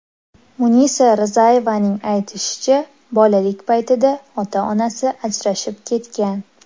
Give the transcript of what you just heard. Munisa Rizayevaning aytishicha, bolalik paytida ota-onasi ajrashib ketgan.